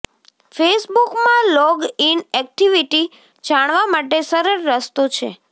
ફેસબુકમાં log in activity જાણવા માટે સરળ રસ્તો છે